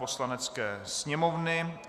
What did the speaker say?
Poslanecké sněmovny